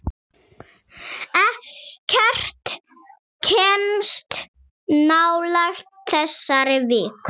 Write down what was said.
Ekkert kemst nálægt þessari viku.